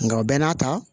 Nka o bɛɛ n'a ta